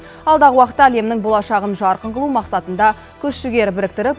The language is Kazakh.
алдағы уақытта әлемнің болашағын жарқын қылу мақсатында күш жігер біріктіріп